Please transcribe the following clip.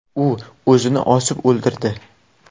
U o‘zini osib o‘ldirdi.